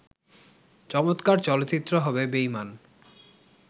চমৎকার চলচ্চিত্র হবে বেঈমান